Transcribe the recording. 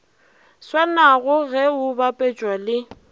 swanago ge o bapetšwa le